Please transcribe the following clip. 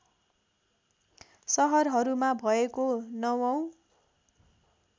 सहरहरूमा भएको ९ औँ